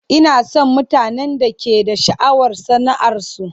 Ina son mutanen da ke da sha'awar sana'arsu.